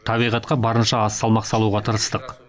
табиғатқа барынша аз салмақ салуға тырыстық